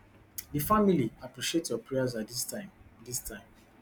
di family appreciate your prayers at dis time dis time